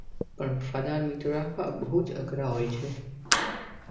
પણ વફાદાર મિત્ર રાખવા બૌ જ અઘરા હોય છે.